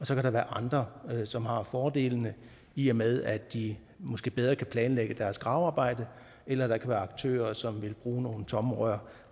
så kan være andre som har fordelene i og med at de måske bedre kan planlægge deres gravearbejde eller der kan være aktører som vil bruge nogle tomme rør